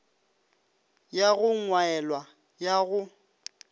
ya go gwaelwa ya go